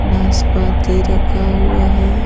नासपाती रखा हुआ है ।